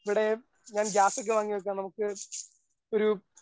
ഇവിടെ ഞാൻ ഗ്യാസൊക്കെ വാങ്ങിവെക്കാം നമുക്ക് ഒരു